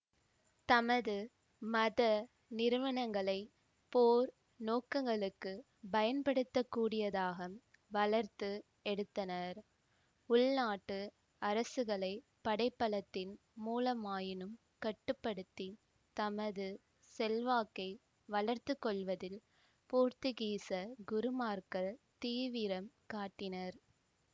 தமது மத நிறுவனங்களைப் போர் நோக்கங்களுக்குப் பயன்படுத்தக்கூடியதாக வளர்த்து எடுத்தனர் உள்நாட்டு அரசுகளைப் படைபலத்தின் மூலமாயினும் கட்டுப்படுத்தித் தமது செல்வாக்கை வளர்த்துக்கொள்வதில் போர்த்துக்கீசக் குருமார்கள் தீவிரம் காட்டினர்